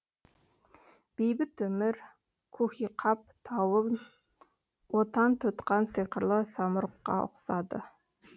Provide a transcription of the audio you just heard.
бейбіт өмір куһиқап тауын отан тұтқан сиқырлы самұрыққа ұқсады